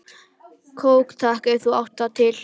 Kók takk, ef þú átt það til!